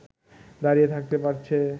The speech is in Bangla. দাঁড়িয়ে থাকতে পারছে